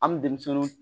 An bɛ denmisɛninw